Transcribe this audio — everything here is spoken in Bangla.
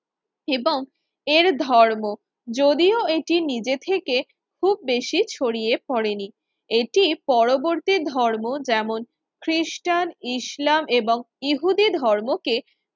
এবং এর ধর্ম যদিও এটি নিজে থেকে খুব বেশি ছড়িয়ে পড়েনি, এটি পরবর্তী ধর্ম যেমন খ্রিস্টান, ইসলাম এবং ইহুদি ধর্মকে